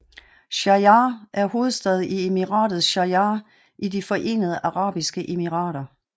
Sharjah er hovedstad i Emiratet Sharjah i De Forenede Arabiske Emirater